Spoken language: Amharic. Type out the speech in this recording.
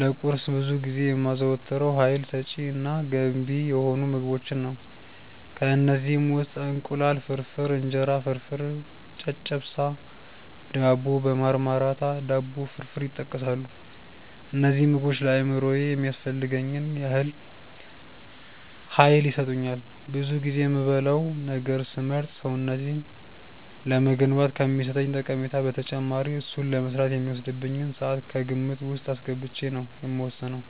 ለቁርስ ብዙ ጊዜ የማዘወትረው ሀይል ሰጪ እና ገንቢ የሆኑ ምግቦችን ነው። ከእነዚህም ውስጥ እንቁላል ፍርፍር፣ እንጀራ ፍርፍር፣ ጨጨብሳ፣ ዳቦ በማርማራታ፣ ዳቦ ፍርፍር ይጠቀሳሉ። እነዚህ ምግቦች ለአእምሮዬ የሚያስፈልገኝን ያህል ሀይል ይሰጡኛል። ብዙ ጊዜ የምበላውን ነገር ስመርጥ ሰውነቴን ለመገንባት ከሚሰጠኝ ጠቀሜታ በተጨማሪ እሱን ለመስራት የሚወስድብኝን ስዓት ከግምት ውስጥ አስገብቼ ነው የምወስነው።